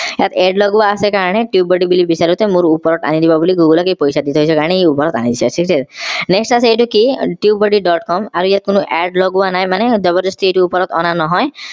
ইয়াত add লগোৱাৰ আছে কাৰণে tubebuddy বুলি বিচাৰোতে মোৰ ওপৰত আনি দিব বুলি google এই পইছা দি থৈছো কাৰণে আনিছে ঠিক আছে next আছে এইটো কি tubebuddy. com আৰু ইয়াত কোনো add লগোৱা নাই মানে যবৰ দস্তি এইটো ওপৰত অনা নহয়